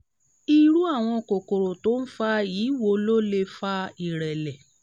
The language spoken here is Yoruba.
irú àwọn kòkòrò tó ń fa yìí wo ló lè fa ìrẹ̀lẹ̀?